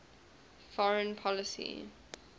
foreign policy